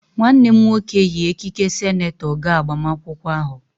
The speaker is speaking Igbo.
Nwanne m nwoke yi ekike senetọ gaa agbamakwụkwọ ahụ.